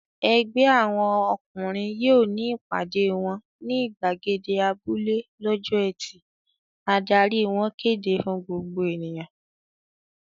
"Ẹgbẹ́ àwọn ọkùnrin yóò ní ìpàdé wọn ní ìgbàgede abúlé lọ́jọ́ ẹtì!" Adarí wọn kéde fún gbogbo ènìyàn.